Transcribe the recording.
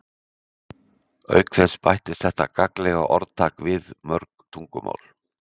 Auk þess bættist þetta gagnlega orðtak við mörg tungumál.